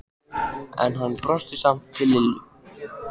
En hann brosti samt til Lillu.